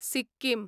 Sikkim